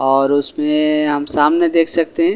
और उसमे हम सामने देख सकते हैं और--